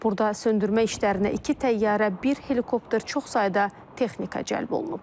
Burada söndürmə işlərinə iki təyyarə, bir helikopter, çox sayda texnika cəlb olunub.